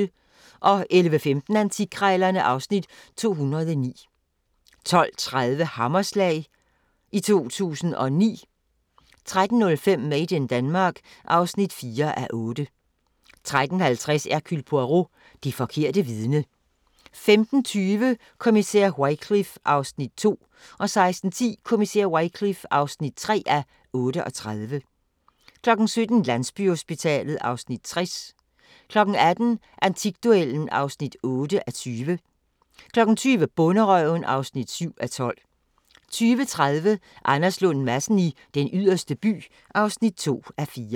11:15: Antikkrejlerne (Afs. 209) 12:30: Hammerslag i 2009 13:05: Made in Denmark (4:8) 13:50: Hercule Poirot: Det forkerte vidne 15:20: Kommissær Wycliffe (2:38) 16:10: Kommissær Wycliffe (3:38) 17:00: Landsbyhospitalet (Afs. 60) 18:00: Antikduellen (8:20) 20:00: Bonderøven (7:12) 20:30: Anders Lund Madsen i Den Yderste By (2:4)